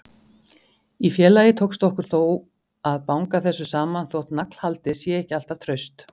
Í félagi tókst okkur þó að banga þessu saman, þótt naglhaldið sé ekki alltaf traust.